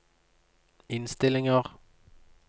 innstillinger